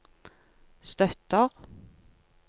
støtter